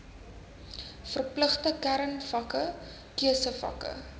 verpligte kernvakke keusevakke